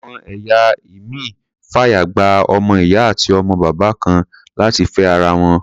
Àwọn ẹ̀ya ìmíì fàyè gba ọmọ-ìyá àti ọmọ-bàbá kan náà láti fẹ́ ara wọn.